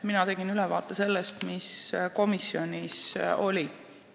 Mina tegin ülevaate sellest, mis komisjonis toimus.